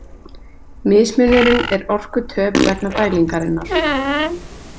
Mismunurinn er orkutöp vegna dælingarinnar.